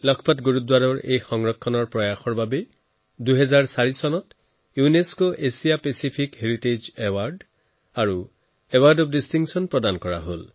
লখপত গুৰুদ্বাৰ সংৰক্ষণৰ প্ৰচেষ্টাক ২০০৪চনত ইউনেস্কৰ এছিয়াপ্ৰশান্ত মহাসাগৰীয় ঐতিহ্যৰ পুৰস্কাৰ এৱাৰ্ড অফ ডিষ্টিংচন প্ৰদান কৰা হৈছে